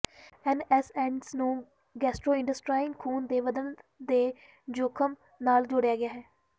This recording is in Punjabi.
ਐਨਐਸਐਂਡਸ ਨੂੰ ਗੈਸਟਰੋਇੰਟੇਸਟਾਈਨਲ ਖੂਨ ਦੇ ਵਧਣ ਦੇ ਜੋਖਮ ਨਾਲ ਜੋੜਿਆ ਗਿਆ ਹੈ